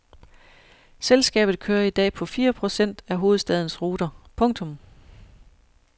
Selskabet kører i dag på fire procent af hovedstadens ruter. punktum